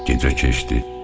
Gecə keçdi.